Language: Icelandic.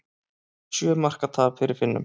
Sjö marka tap fyrir Finnum